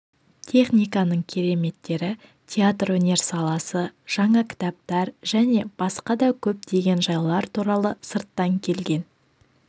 техниканың кереметтері театр өнер саласы жаңа кітаптар және басқа да көптеген жайлар туралы сырттан келген